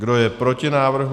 Kdo je proti návrhu?